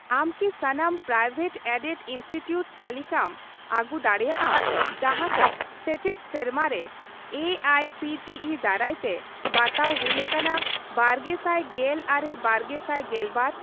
ᱟᱢ ᱠᱤ ᱥᱟᱱᱟᱢ ᱯᱨᱟᱭᱵᱷᱮᱴᱼᱮᱰᱮᱰ ᱤᱱᱥᱴᱤᱴᱤᱣᱩᱴ ᱛᱟᱹᱞᱤᱠᱟᱢ ᱟᱹᱜᱩ ᱫᱟᱲᱮᱭᱟᱜᱼᱟ ᱡᱟᱦᱟᱸᱠᱚ ᱥᱮᱪᱮᱫ ᱥᱮᱨᱢᱟ ᱨᱮ ᱮᱹᱟᱭᱹᱥᱤᱹᱴᱤᱹᱤ ᱫᱟᱨᱟᱭᱛᱮ ᱵᱟᱛᱟᱣ ᱦᱩᱭ ᱟᱠᱟᱱᱟ ᱵᱟᱨᱜᱮᱥᱟᱭ ᱜᱮᱞ ᱟᱨᱮᱼᱵᱟᱨᱜᱮᱥᱟᱭ ᱜᱮᱞᱵᱟᱨ ?